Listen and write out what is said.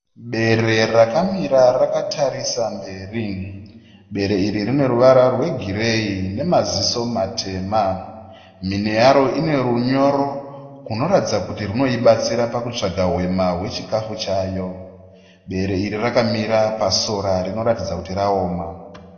Bere rakamira rakatarisa mberi. Bere iri rine ruvara rwe gireyi nemaziso matema. Mhino yaro ine runyoro unoratidza kuti runoibatsira pakutsvaga hwema hwechikafu chayo. Bere iri rakamira pasora rinoratidza kuti raoma.